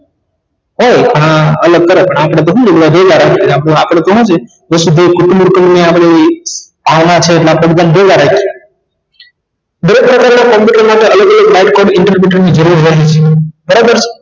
એ હા અને તરત આપને તો શું છે કુટુંબ કુટુંબ ની આપણી આવ્યા છે માટે બધા ને બોલવ્યે બે માટે અલગ અલગ બાળકો ને interpretate ની જરૂર હોય જ બરાબર